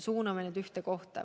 Suuname need ühte kohta.